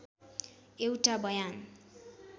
एउटा बयान